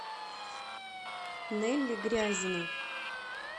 нелли грязина